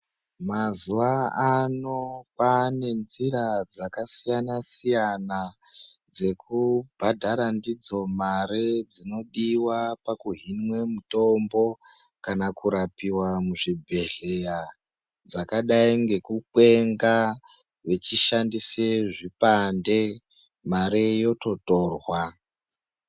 Mazuwaano kwane nzira dzakasiyana siyana dzekubhadhara ndidzo mare dzinodiwa pakuhinwe mutombo kana kurapiwe muzvibhedhlera dzakadai ngekukwenga vechishandise zvipande mare yototorwa.